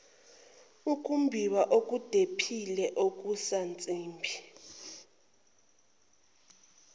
ukumbiwa okudephile kokusansimbi